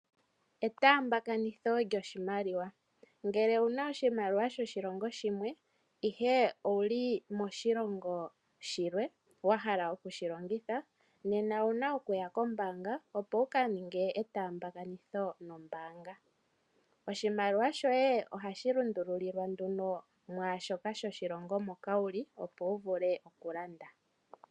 Etambakanitho lyoshimaliwa ngele owuna oshimaliwa sho shilongo shimwe ihe owuli moshilongo shilwe wahala okushi longitha nena owuna okuya kombanga opo wukaninge etambakanitho nombanga. Oshimaliwa shoye ohashi lundulilwa nduno mwashoka shoshilongo moka wuli opowu vule oku landa.